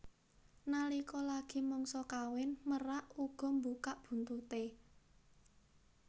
Nalika lagi mangsa kawin merak uga mbukak buntuté